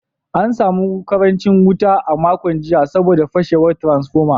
An samu karancin wuta a makon jiya saboda fashewar transformer.